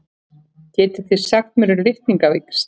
Hvað getið þið sagt mér um litningavíxl?